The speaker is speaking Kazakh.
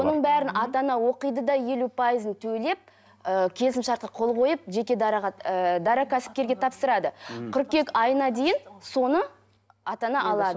оның бәрін ата ана оқиды да елу пайызын төлеп ііі келісімшартқа қол қойып жеке дараға ыыы дара кәсіпкерге тапсырады мхм кыркүйек айына дейін соны ата ана алады